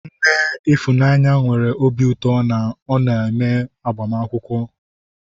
Nne Ifunanya nwere obi ụtọ na ọ neme agbamakwụkwọ.